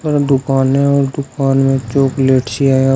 दुकान है और दुकान में चॉकलेट सी है।